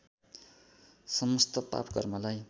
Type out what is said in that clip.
समस्थ पाप कर्मलाई